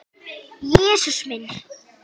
Jesús minn.